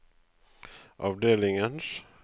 avdelingens